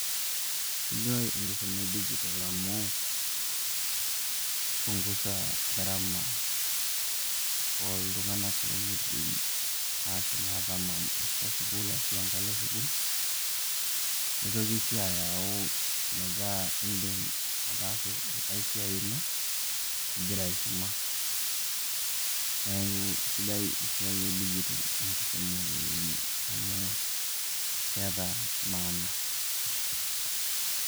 Sidai enkisuma edijitol amu keipungusa garama oltung'anak lemeidim aashom atamanyany' atwa sukuul ashu engalo sukuul, neitoki sii ayau metaa eedim ataasa engae siai ino egira aisuma. Neeku esidai esiai edijitol enkisuma oleng' amu keeta mana.